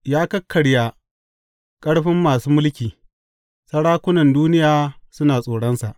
Ya kakkarya ƙarfin masu mulki; sarakunan duniya suna tsoronsa.